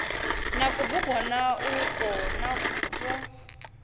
na kubugwana ukwo na zwo